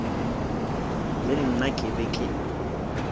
le nna ke be ke